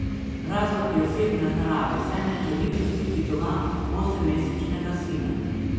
Razlog je osebne narave, saj ne želi pustiti doma osemmesečnega sina.